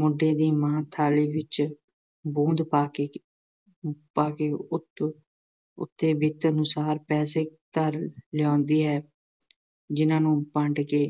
ਮੁੰਡੇ ਦੀ ਮਾਂ ਥਾਲੀ ਵਿੱਚ ਪਾ ਕੇ ਪਾ ਕੇ ਉੱਤੋਂ ਉੱਤੇ ਦਿੱਤੇ ਅਨੁਸਾਰ ਪੈਸੇ ਲਿਆਉਂਦੀ ਹੈ, ਜਿੰਨ੍ਹਾ ਨੂੰ ਵੰਡ ਕੇ